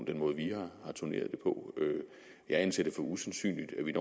den måde vi har turneret det på jeg anser det for usandsynligt at vi